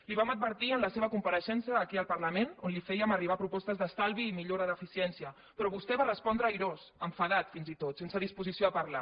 li ho vam advertir en la seva compareixença aquí al parlament on li fèiem arribar propostes d’estalvi i millores d’eficiència però vostè va respondre irós enfadat fins i tot sense disposició a parlar